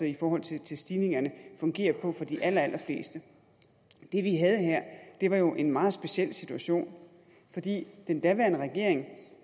i forhold til stigningerne fungerer på for de allerallerfleste det vi havde her var jo en meget speciel situation fordi den daværende regering